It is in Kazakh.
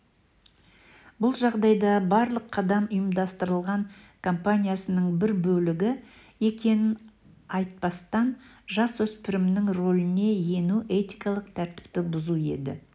бұл жағдайда барлық қадам ұйымдастырылған компанияның бір бөлігі екенін айтпастан жасөспірімнің рөліне ену этикалық тәртіпті бұзу еді